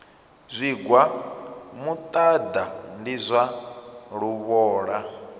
zwigwa muṱaḓa ndi zwa luvhola